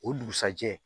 O dugusajɛ